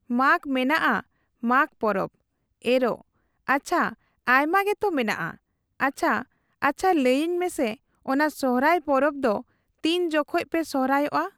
ᱢᱟᱜᱽ ᱢᱮᱱᱟᱜᱼᱟ ᱢᱟᱜᱽ ᱯᱚᱨᱚᱵ, ᱮᱨᱚᱜ ᱾ ᱟᱪᱪᱷᱟ ᱟᱭᱢᱟᱜᱮᱛᱚ ᱢᱮᱱᱟᱜᱼᱟ ᱾ᱸᱟᱪᱪᱷᱟ ᱟᱪᱪᱷᱟ ᱞᱟᱹᱭᱟᱹᱧ ᱢᱮᱥᱮ ᱚᱱᱟ ᱥᱚᱦᱚᱨᱟᱭ ᱯᱚᱨᱚᱵ ᱫᱚ ᱛᱤᱱ ᱡᱚᱠᱷᱚᱱᱯᱮ ᱥᱚᱦᱨᱟᱭᱚᱜᱼᱟ ᱾